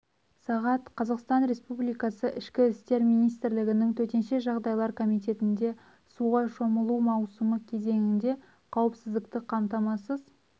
сағат қазақстан республикасы ішкі істер министрлігінің төтенше жағдайлар комитетінде суға шомылу маусымы кезеңінде қауіпсіздікті қамтамасыз